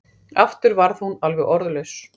Aftur varð hún alveg orðlaus.